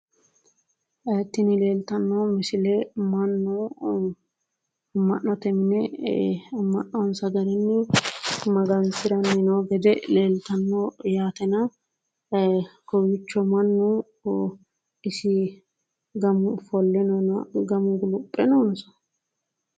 Tini leeltanno misile mannu amma'note mine e"e amma'nonsa garinni magansiranni noo gede leltaatanno yaatena kowiichcho mannu isi gamu ofolle noona gamu guluphe noonso